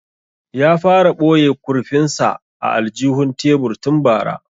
Ya fara boye kurfin sa a aljihun tebur tun bara